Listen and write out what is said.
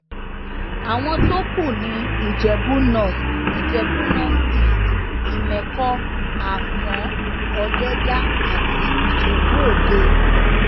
àwọn tó kù ní ìjẹbù north ìjẹbù north east ìmẹkọ àfọn ọdẹdá àti ìjẹbù òde